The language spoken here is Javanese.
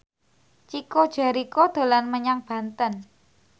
Chico Jericho dolan menyang Banten